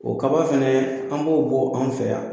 O kaba fɛnɛ an b'o bɔ anw fɛ yan.